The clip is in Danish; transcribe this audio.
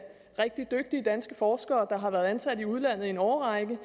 rigtig dygtige danske forskere der har været ansat i udlandet i en årrække